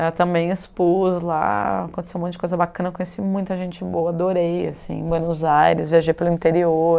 Eu também expus lá, aconteceu um monte de coisa bacana, conheci muita gente boa, adorei, assim, Buenos Aires, viajei pelo interior,